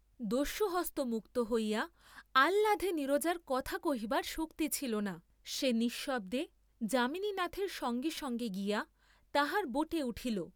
দস্যুহস্তমুক্ত হইয়া আহ্লাদে নীরজার কথা কহিবার শক্তি ছিল না, সে নিঃশব্দে যামিনীনাথের সঙ্গে সঙ্গে গিয়া তাঁহার বোটে উঠিল।